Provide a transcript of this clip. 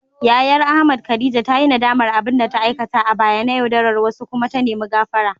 Yayar Ahmad, Khadija ta yi nadamar abin da ta aikata a baya na yaudarar wasu kuma ta nemi gafara.